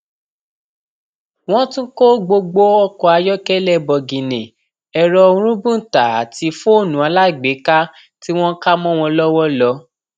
wọn tún kó gbogbo ọkọ ayọkẹlẹ bọgìnnì ẹrọ rúbùntà àti fóònù alágbèéká tí wọn kà mọ wọn lọwọ lọ